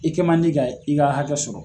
I kɛ man di ka i ka hakɛ sɔrɔ.